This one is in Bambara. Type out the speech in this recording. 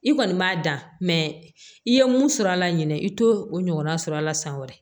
I kɔni b'a dan i ye mun sɔrɔ a la ɲinɛ i t'o o ɲɔgɔnna sɔrɔ a la san wɛrɛ